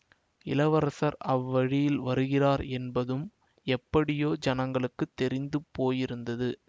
இளவரசர் அவ்வழியில் வருகிறார் என்பதும் எப்படியோ ஜனங்களுக்கு தெரிந்து போயிருந்தது